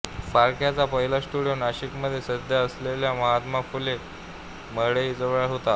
फाळक्यांचा पहिला स्टुडियो नाशिकमध्ये सध्या असलेल्या महात्मा फुले मंडईजवळ होता